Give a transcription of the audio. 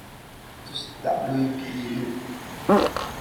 tus dhacdooyinka ii dhow